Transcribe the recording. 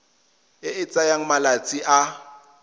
e e tsayang malatsi a